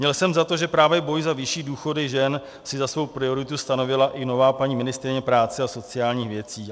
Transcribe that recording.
Měl jsem za to, že právě boj za vyšší důchody žen si za svou prioritu stanovila i nová paní ministryně práce a sociálních věcí.